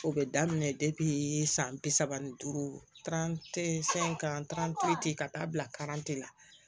O bɛ daminɛ depi san bi saba ni duuru fɛn in ka ka taa bila la